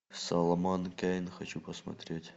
соломон кейн хочу посмотреть